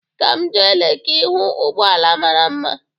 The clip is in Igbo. Ka m jee Leki hụ ụgbọala mara mma.